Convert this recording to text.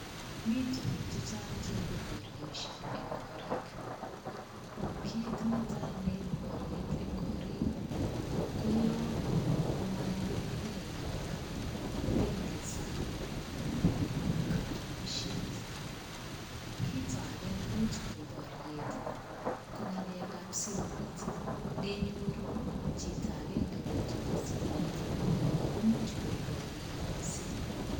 Mii tukuk chechang cheibu boryosiek eng korik. Kit netai neibu boryet ko yo maiyonigei piik akopendi san'g nebo katunishet. Kito age nemuch koip boryet ko ng'alekap simoit, neiyoru chito agenge kotooni simoit akomi age, komuch koip boryet mising.